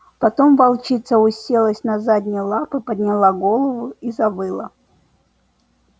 потом волчица уселась на задние лапы подняла голову и завыла